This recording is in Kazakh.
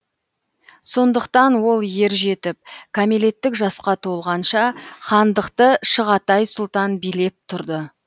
сондықтан ол ер жетіп кәмелеттік жасқа толғанша хандықты шығатай сұлтан билеп тұрды